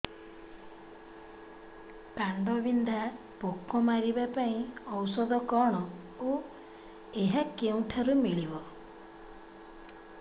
କାଣ୍ଡବିନ୍ଧା ପୋକ ମାରିବା ପାଇଁ ଔଷଧ କଣ ଓ ଏହା କେଉଁଠାରୁ ମିଳିବ